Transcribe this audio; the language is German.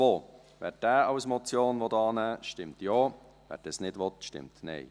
Wer diesen als Motion annehmen will, stimmt Ja, wer dies nicht will, stimmt Nein.